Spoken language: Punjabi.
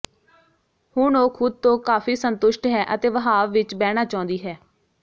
ਹੁਣ ਉਹ ਖੁਦ ਤੋਂ ਕਾਫੀ ਸੰਤੁਸ਼ਟ ਹੈ ਅਤੇ ਵਹਾਵ ਵਿੱਚ ਬਹਿਣਾ ਚਾਹੁੰਦੀ ਹੈ